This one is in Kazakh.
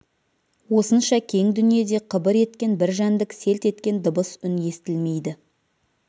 осынша кең дүниеде қыбыр еткен бір жәндік селт еткен дыбыс үн естілмейді